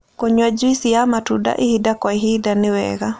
Kũyũa jũĩsĩ ya matunda ĩhĩda kwa ĩhĩda ĩwega